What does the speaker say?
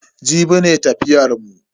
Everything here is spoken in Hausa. Jibi ne tafiyar mu.